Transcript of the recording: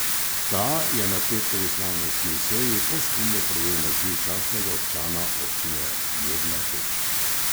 Ta je na petkovi slavnostni seji posthumno prejel naziv častnega občana Občine Mirna Peč.